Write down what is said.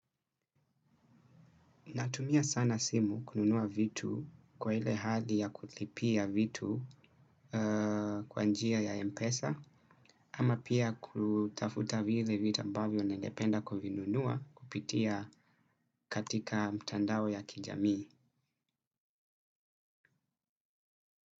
Natumia sana simu kununua vitu kwa ile hali ya kulipia vitu kwa njia ya mpesa ama pia kutafuta vile vitu ambavio ningependa ku vinunua kupitia katika mtandao ya kijamii.